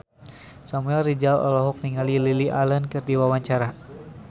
Samuel Rizal olohok ningali Lily Allen keur diwawancara